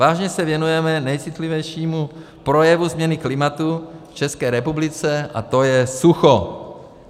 Vážně se věnujeme nejcitlivějšímu projevu změny klimatu v České republice, a to je sucho.